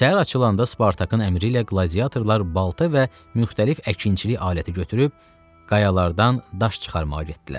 Səhər açılanda Spartakın əmri ilə qladiyatorlar balta və müxtəlif əkinçilik aləti götürüb qayalardan daş çıxarmağa getdilər.